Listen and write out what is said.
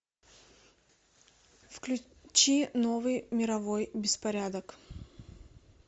включи новый мировой беспорядок